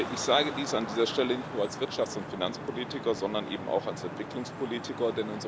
Ich sage dies an dieser Stelle nicht nur als Wirtschafts und Finanzpolitiker, sondern auch als Entwicklungspolitiker.